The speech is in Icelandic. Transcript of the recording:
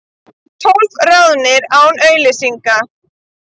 Tólf ráðnir án auglýsingar